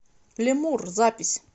ле мурр запись